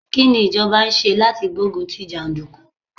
Kí ni ìjọba ń ṣe láti gbé ogun tí jàndùkú?